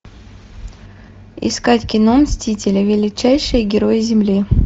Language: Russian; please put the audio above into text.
искать кино мстители величайшие герои земли